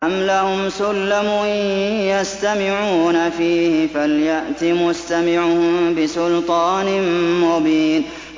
أَمْ لَهُمْ سُلَّمٌ يَسْتَمِعُونَ فِيهِ ۖ فَلْيَأْتِ مُسْتَمِعُهُم بِسُلْطَانٍ مُّبِينٍ